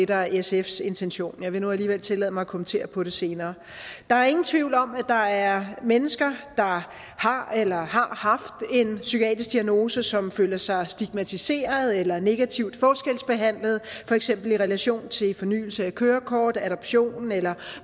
der er sfs intention jeg vil nu alligevel tillade mig at kommentere på det senere der er ingen tvivl om at der er mennesker der har eller har haft en psykiatrisk diagnose som føler sig stigmatiseret eller negativt forskelsbehandlet for eksempel i relation til fornyelse af kørekort adoption eller